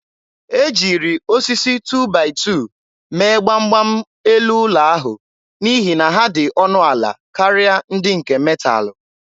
E jiri osisi 2-by-2 mee gbam gbam elu ụlọ ahụ n'ihi na ha dị ọnụ ala karịa ndị nke metalụ.